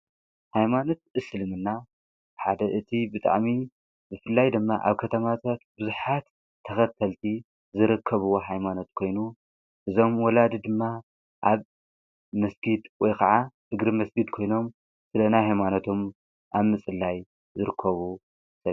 ኃይማኖት እስልምና ሓደ እቲ ብጣዕሚ ብፍላይ ድማ ኣብ ከተማታት ብዙሓት ተኸተልቲ ዝረከብዎ ኃይማኖት ኮይኑ እዞም ወላድ ድማ ኣብ መስኪድ ወይ ኸዓ እግሪ መስጊድ ኮይኖም ስለ ሃይማኖቶም ኣብምፅላይ ዝርከቡ እዮም።